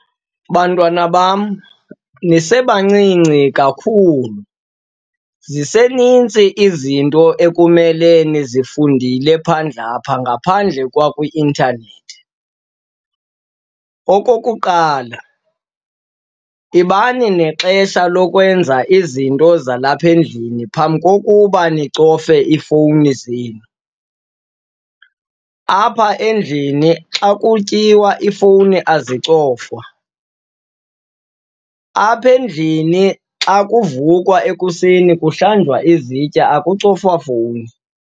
Bantwana bam, nisebancinci kakhulu, zisenintsi izinto ekumele nizifundile phandle apha ngaphandle kwakwi-intanethi. Okokuqala, yibani nexesha lokwenza izinto zalapha endlini phambi kokuba nicofe iifowuni zenu. Apha endlini xa kutyiwa iifowuni azicofwa. Apha endlini xa kuvukwa ekuseni kuhlanjwa izitya, akucofwa fowuni.